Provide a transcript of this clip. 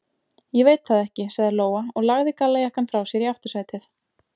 Ég veit það ekki, sagði Lóa og lagði gallajakkann frá sér í aftursætið.